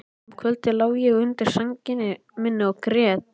Um kvöldið lá ég undir sænginni minni og grét.